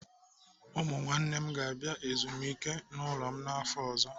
Ụmụ nwanne m ga-abịa ezumike n'ụlọ m n'afọ ọzọ.